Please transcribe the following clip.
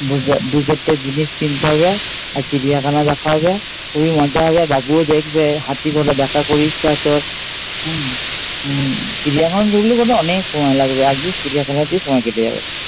দু দুচারটে জিনিস কিনতে হবে আর চিড়িয়াখানায় দেখা হবে খুবই মজা হবে, বাবুও দেখবে। হাতিকটা দেখার খুব ইচ্ছে আছে ওর হম উম চিড়িয়াখানা ঢুকলে বোধহয় অনেক সময় লাগবে, একদিন চিড়িয়াখানাতেই সময় কেটে যাবে।